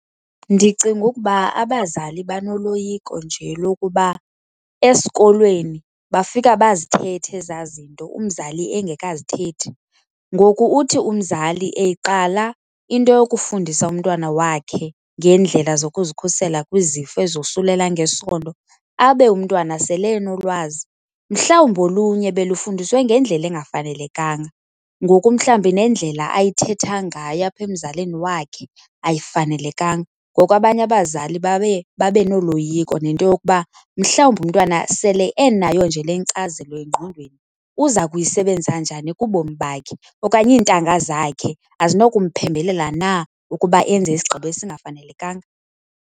Ndicinga ukuba abazali banoloyiko nje lokuba esikolweni bafika bazithethe ezaa zinto umzali engakazithethi. Ngoku uthi umzali eyiqala into yokufundisa umntwana wakhe ngeendlela zokuzikhusela kwizifo ezosulela ngesondo abe umntwana sele enolwazi, mhlawumbi olunye belufundiswe ngendlela engafanelekanga. Ngoku mhlawumbi nendlela ayithetha ngayo apha emzalini wakhe ayifanelekanga, ngoko abanye abazali baye babe noloyiko nento yokuba mhlawumbi umntwana sele enayo nje le nkcazelo engqondweni uza kuyisebenza njani kubomi bakhe okanye iintanga zakhe azinokumphembelela na ukuba enze isigqibo esingafanelekanga.